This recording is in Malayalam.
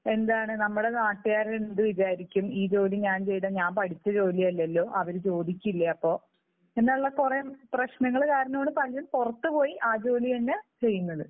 എന്താണ് നമ്മുടെ നാട്ടുകാര് എന്ത് വിചാരിക്കും ഈ ജോലി ഞാൻ ചെയ്താൽ? ഞാൻ പഠിച്ച ജോലി അല്ലല്ലോ. അവർ ചോദിക്കില്ലേ അപ്പോൾ എന്നുള്ള കുറേ പ്രശ്നങ്ങൾ കാരണമാണ് പലരും പുറത്തു പോയി ആ ജോലി തന്നെ ചെയ്യുന്നത്.